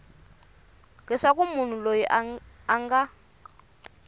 leswaku munhu loyi a nga